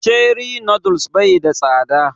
Cherie noodles bai da tsada